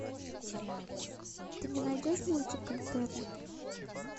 ты мне найдешь мультик интерны